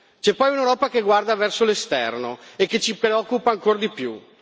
C'è poi un'Europa che guarda verso l'esterno e che ci preoccupa ancor di più.